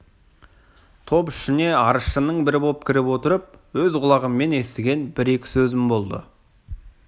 топ ішіне арызшының бірі боп кіріп отырып өз құлағыммен естіген бір-екі сөзім болды